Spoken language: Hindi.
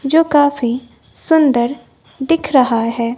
जो काफी सुंदर दिख रहा है।